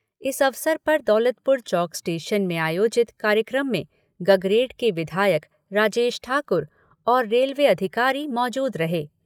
इस अवसर पर दौलतपुर चौक स्टेशन में आयोजित कार्यक्रम में गगरेट के विधायक राजेश ठाकुर और रेलवे अधिकारी मौजूद रहे।